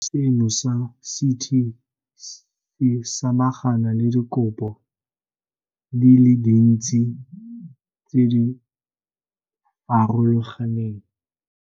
Setheo seno sa CT se samagana le dikopo di le dintsi tse di farologaneng.